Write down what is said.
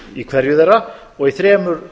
í hverju þeirra og í þremur